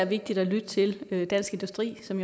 vigtigt at lytte til dansk industri som